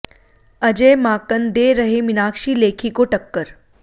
अजय माकन दे रहे मीनाक्षी लेखी को टक्कर